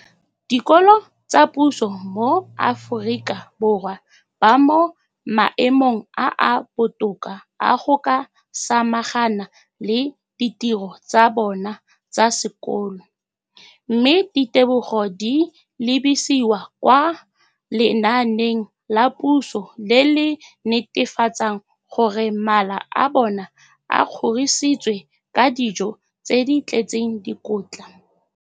Dikolo tsa puso mo Aforika Borwa ba mo maemong a a botoka a go ka samagana le ditiro tsa bona tsa sekolo, mme ditebogo di lebisiwa kwa lenaaneng la puso le le netefatsang gore mala a bona a kgorisitswe ka dijo tse di tletseng dikotla.